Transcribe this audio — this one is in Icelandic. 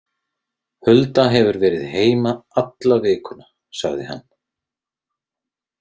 Hulda hefur verið heima alla vikuna, sagði hann.